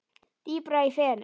Dýpra í fenið